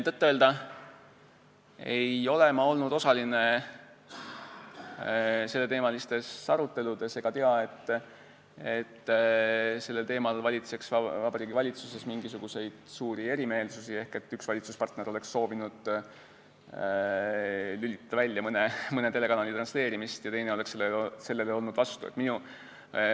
Tõtt-öelda ei ole ma olnud osaline selleteemalistes aruteludes ega tea, et sellel teemal valitseks Vabariigi Valitsuses mingisuguseid suuri erimeelsusi, ehk et üks valitsuspartner oleks nagu soovinud lülitada välja mõne telekanali transleerimist ja teine oleks sellele vastu olnud.